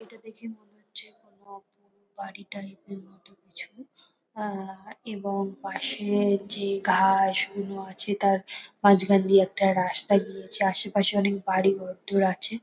এটা দেখে মনে হচ্ছে কোন পোড় বাড়ি টাইপ -এর মতো কিছু আহ এবং পাশে যে ঘাস গুলো আছে তার মাঝখান দিয়ে একটা রাস্তা গিয়েছে। আশেপাশে অনেক বাড়ি ঘরদোর আছে।